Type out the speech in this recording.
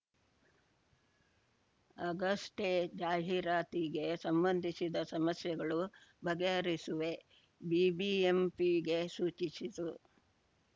ಆಗಷ್ಟೇ ಜಾಹೀರಾತಿಗೆ ಸಂಬಂಧಿಸಿದ ಸಮಸ್ಯೆಗಳು ಬಗೆಹರಿಸುವೆ ಬಿಬಿಎಂಪಿಗೆ ಸೂಚಿಸಿತು